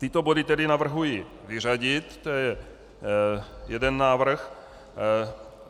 Tyto body tedy navrhuji vyřadit, to je jeden návrh.